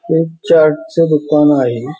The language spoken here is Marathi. हे एक चार्टच दुकान आहे.